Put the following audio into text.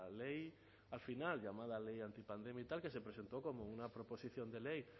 ley al final llamada ley antipandemia y tal que se presentó como una proposición de ley